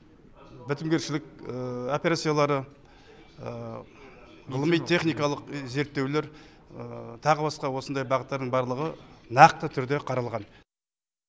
бітімгершілік операциялары ғылыми техникалық зерттеулер тағы басқа осындай бағыттардың барлығы нақты түрде қаралған